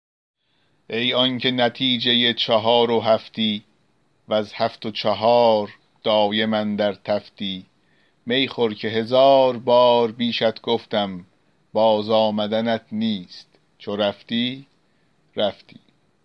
ای آنکه نتیجه چهار و هفتی وز هفت و چهار دایم اندر تفتی می خور که هزار بار بیشت گفتم باز آمدنت نیست چو رفتی رفتی